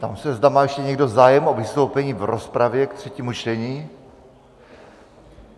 Ptám se, zda má ještě někdo zájem o vystoupení v rozpravě ke třetímu čtení?